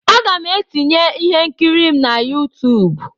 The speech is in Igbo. Aga m etinye ihe nkiri m na YouTube.